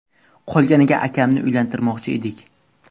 Qolganiga akamni uylantirmoqchi edik.